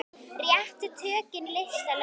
Réttu tökin lista laun.